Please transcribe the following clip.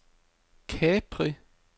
Capri